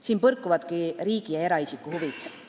Siin põrkuvadki riigi ja eraisiku huvid.